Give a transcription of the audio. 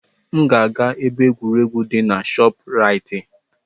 M ga-aga na ebe egwuregwu di na ShopRite.